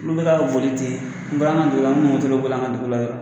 Olu bɛ ka boli ten n bɔla n kɛ dugu la n tun bi dɔ boli an kɛ dugula la.